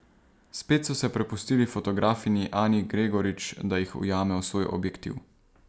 Spet so se prepustili fotografinji Ani Gregorič, da jih ujame v svoj objektiv.